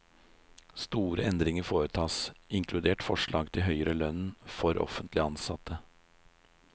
Store endringer foretas, inkludert forslag til høyere lønn for offentlig ansatte.